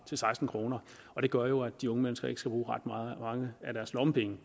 til seksten kr og det gør jo at de unge mennesker ikke skal bruge ret mange af deres lommepenge